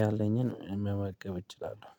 ያለኝን መመገብ እችላለሁ